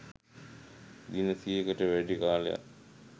දින සියයකට වැඩි කාලයක්